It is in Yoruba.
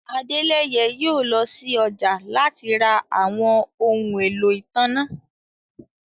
Adẹ́lẹ̀yẹ̀ yóò lọ sí ọjà láti rá àwọn ọhun ẹ̀lọ́ itánná.